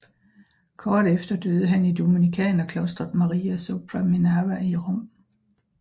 Kort efter døde han i Dominikanerklostret Maria sopra Minerva i Rom